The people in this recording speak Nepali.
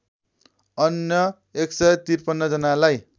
अन्य १५३ जनालाई